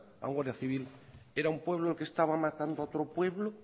a un guardia civil era un pueblo el que estaba matando a otro pueblo